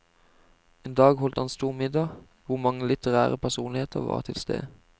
En dag holdt han stor middag, hvor mange litterære personligheter var til stede.